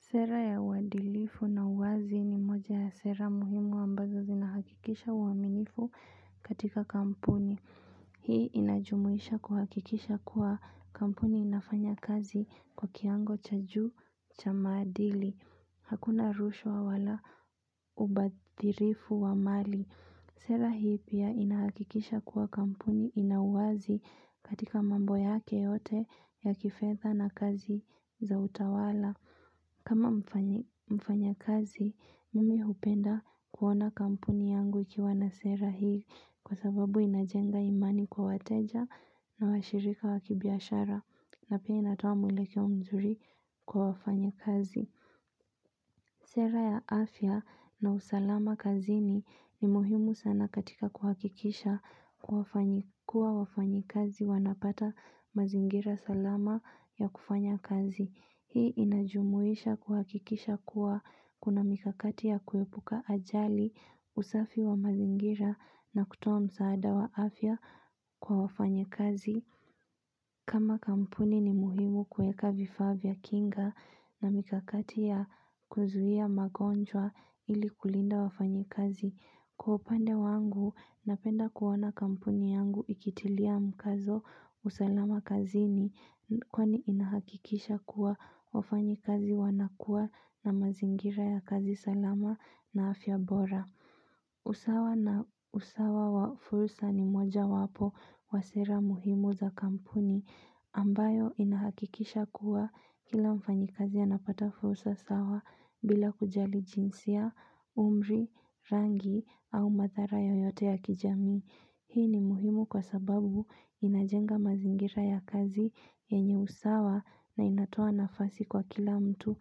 Sera ya uadilifu na uwazi ni moja ya sera muhimu ambazo zinahakikisha uaminifu katika kampuni. Hii inajumuisha kuhakikisha kuwa kampuni inafanya kazi kwa kiwango cha juu cha maadili. Hakuna rushwa wala ubadhirifu wa mali. Sera hii pia inahakikisha kuwa kampuni ina uwazi katika mambo yake yote ya kifedha na kazi za utawala. Kama mfanya kazi, mimi hupenda kuona kampuni yangu ikiwa na sera hii kwa sababu inajenga imani kwa wateja na washirika wa kibiashara na pia inatoa mwelekeo mzuri kwa wafanya kazi. Sera ya afya na usalama kazini ni muhimu sana katika kuhakikisha kuwa wafanyi kazi wanapata mazingira salama ya kufanya kazi. Hii inajumuisha kuhakikisha kuwa kuna mikakati ya kuepuka ajali usafi wa mazingira na kutoa msaada wa afya kwa wafanyi kazi. Kama kampuni ni muhimu kuweka vifaa vya kinga na mikakati ya kuzuia magonjwa ili kulinda wafanyi kazi. Kwa upande wangu napenda kuona kampuni yangu ikitilia mkazo usalama kazini kwani inahakikisha kuwa wafanyi kazi wanakuwa na mazingira ya kazi salama na afya bora. Usawa na usawa wa fursa ni moja wapo wa sera muhimu za kampuni ambayo inahakikisha kuwa kila mfanyi kazi anapata fursa sawa bila kujali jinsia, umri, rangi au madhara yoyote ya kijamii Hii ni muhimu kwa sababu inajenga mazingira ya kazi yenye usawa na inatoa nafasi kwa kila mtu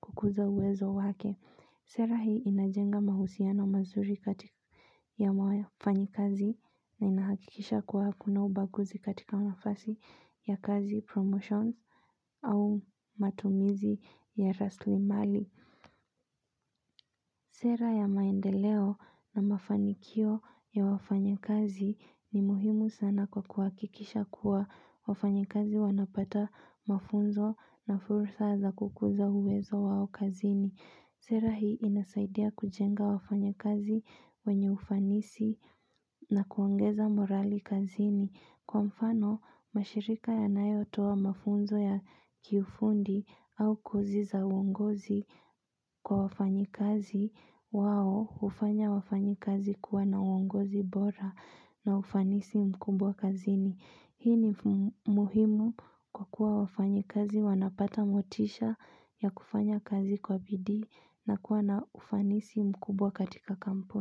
kukuza uwezo wake Sera hii inajenga mahusiano mazuri katika ya wafanyikazi na inahakikisha kuwa kuna ubaguzi katika nafasi ya kazi promotions au matumizi ya rasili mali. Sera ya maendeleo na mafanikio ya wafanya kazi ni muhimu sana kwa kuhakikisha kuwa wafanyikazi wanapata mafunzo na fursa za kukuza uwezo wao kazini. Sera hii inasaidia kujenga wafanya kazi wenye ufanisi na kuongeza morali kazini. Kwa mfano, mashirika yanayo toa mafunzo ya kifundi au kozi za uongozi kwa wafanyi kazi wao hufanya wafanyi kazi kuwa na uongozi bora na ufanisi mkubwa kazini. Hii ni muhimu kwa kuwa wafanyi kazi wanapata motisha ya kufanya kazi kwa bidii na kuwa na ufanisi mkubwa katika kampuni.